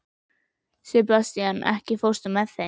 Sebastian, ekki fórstu með þeim?